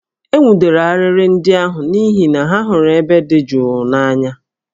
E nwụdere arịrị ndị ahụ n'ihi na ha hụrụ ebe dị jụụ n'anya